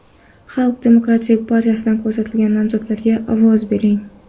Xalq demokratik partiyasidan ko‘rsatilgan nomzodlarga ovoz bering!